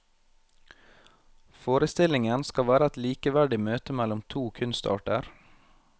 Forestillingen skal være et likeverdig møte mellom to kunstarter.